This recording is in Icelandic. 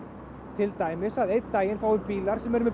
til dæmis að einn daginn fái bílar sem eru með